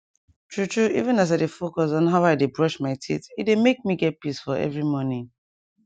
true true even as i dey focus on how i dey brush my teeth e dey make me get peace for every morning